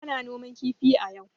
Ana noman kifi a yau.